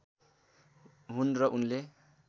हुन् र उनले